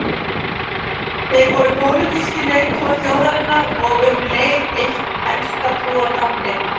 Þeir voru pólitískir leiðtogar þjóðarinnar og um leið eitt helsta trúartákn Egypta.